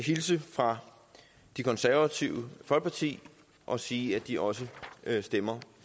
hilse fra det konservative folkeparti og sige at de også stemmer